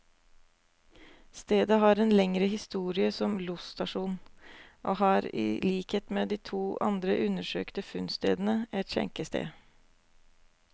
Stedet har en lengre historie som losstasjon, og hadde i likhet med de to andre undersøkte funnstedene, et skjenkested.